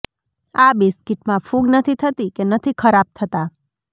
આ બિસ્કિટમાં ફૂગ નથી થતી કે નથી ખરાબ થતા